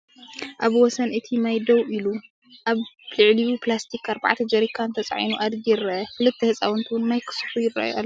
ኣብ ወሰን እቲ ማይ ደው ኢሉ፡ ኣብ ልዕሊኡ ፕላስቲክ ኣርባዕተ ጀሪካን ተጻዒኑ ኣድጊ ይርአ። ክልተ ህጻናት እውን ማይ ክስሕቡ ይረኣዩ ኣለው።